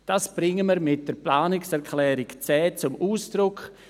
Dies bringen wir mit der Planungserklärung 10 zum Ausdruck.